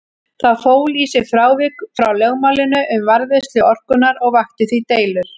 Það fól í sér frávik frá lögmálinu um varðveislu orkunnar og vakti því deilur.